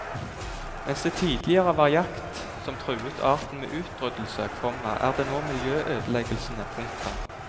Mens det tidligere var jakt som truet arten med utryddelse, komma er det nå miljøødeleggelsene. punktum